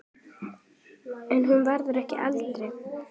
En hann verður ekki eldri.